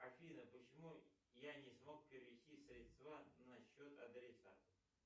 афина почему я не смог перевести средства на счет адресата